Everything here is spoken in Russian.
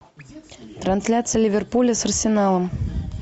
трансляция ливерпуля с арсеналом